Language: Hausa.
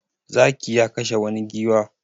Zaki ya kashe wani giwa.